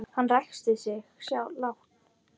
Hann ræskti sig lágt.